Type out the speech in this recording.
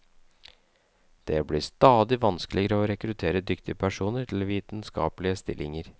Det blir stadig vanskeligere å rekruttere dyktige personer til vitenskapelige stillinger.